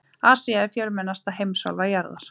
Asía er fjölmennasta heimsálfa jarðar.